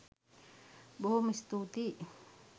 බොහෝම ස්තුතියි